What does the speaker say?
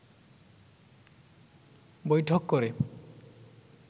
বৈঠক করে